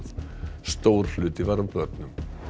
stór hluti var af börnum